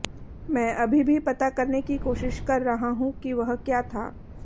मैं अभी भी पता करने की कोशिश कर रहा हूं कि वह क्या था